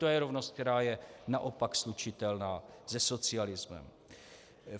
To je rovnost, která je naopak slučitelná se socialismem.